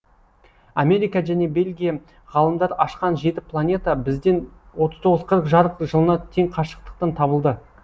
америка және бельгия ғалымдары ашқан жеті планета бізден отыз тоғыз жарық жылына тең қашықтықтан табылды